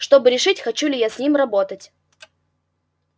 чтобы решить хочу ли я с ним работать